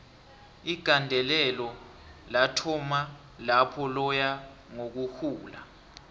igandelelo lathoma lapho laya ngokuhula